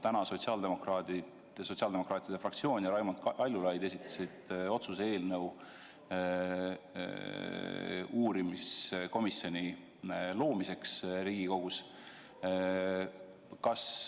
Täna esitasid sotsiaaldemokraatide fraktsioon ja Raimond Kaljulaid otsuse eelnõu uurimiskomisjoni loomiseks Riigikogus.